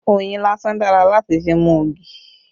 Oyin lásán dára láti fi mú ogi